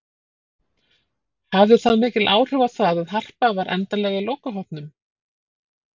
Hafði það mikil áhrif á það að Harpa var endanlega í lokahópnum?